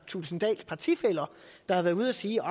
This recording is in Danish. thulesen dahls partifæller der har været ude at sige